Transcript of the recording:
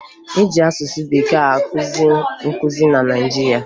E ji asụsụ Bekee akụzi nkụzi na Naịjirịa